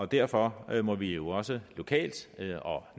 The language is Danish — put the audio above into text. derfor må vi også lokalt og